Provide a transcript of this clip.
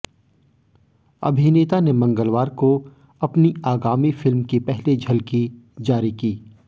अभिनेता ने मंगलवार को अपनी आगामी फिल्म की पहली झलकी जारी की